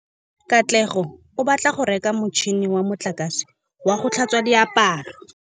Katlego o batla go reka motšhine wa motlakase wa go tlhatswa diaparo.